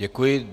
Děkuji.